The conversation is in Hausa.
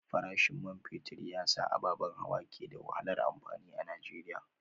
Farashin man fetur ya sa ababen hawa ke da wahalar amfani a Najeriya